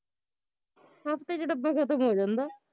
ਹਫ਼ਤੇ ਚ ਡੱਬਾ ਖਤਮ ਹੋ ਜਾਂਦਾ